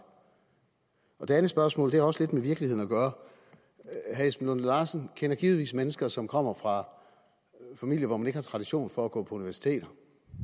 det andet spørgsmål har også lidt med virkeligheden at gøre herre esben lunde larsen kender givetvis mennesker som kommer fra familier hvor man ikke har tradition for at gå på universitetet